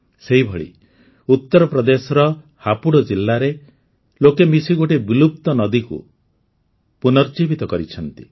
ସେହିଭଳି ଉତ୍ତରପ୍ରଦେଶର ହାପୁଡ଼ ଜିଲ୍ଲାରେ ଲୋକେ ମିଶି ଗୋଟିଏ ବିଲୁପ୍ତ ନଦୀକୁ ପୁନର୍ଜୀବିତ କରିଛନ୍ତି